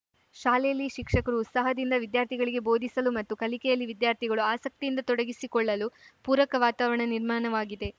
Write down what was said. ಶಾಲೆಯಲ್ಲಿ ಶಿಕ್ಷಕರು ಉತ್ಸಾಹದಿಂದ ವಿದ್ಯಾರ್ಥಿಗಳಿಗೆ ಬೋಧಿಸಲು ಮತ್ತು ಕಲಿಕೆಯಲ್ಲಿ ವಿದ್ಯಾರ್ಥಿಗಳು ಆಸಕ್ತಿಯಿಂದ ತೊಡಗಿಸಿಕೊಳ್ಳಲು ಪೂರಕ ವಾತಾವರಣ ನಿರ್ಮಾಣವಾಗಿದೆ